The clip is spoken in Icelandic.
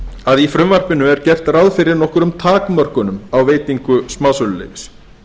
að í frumvarpinu er gert ráð fyrir nokkrum takmörkunum á veitingu smásöluleyfis